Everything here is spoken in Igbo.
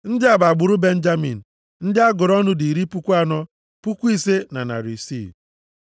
Ndị a bụ agbụrụ Benjamin. Ndị a gụrụ ọnụ dị iri puku anọ, puku ise na narị isii (45,600).